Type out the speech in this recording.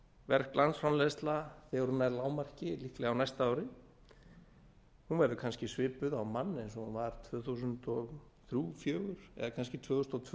verg landsframleiðsla þegar hún nær lágmarki líklega á næsta ári verður kannski svipuð á mann eins og hún var tvö þúsund og þrjú tvö þúsund og fjögur eða kannski tvö þúsund og tvö við